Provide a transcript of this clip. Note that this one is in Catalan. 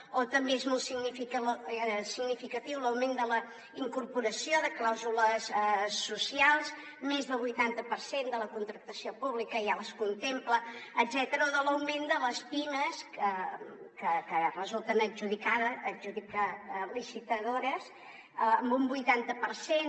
o també és molt significatiu l’augment de la incorporació de clàusules socials més del vuitanta per cent de la contractació pública ja les contempla o l’augment de les pimes que en resulten licitadores en un vuitanta per cent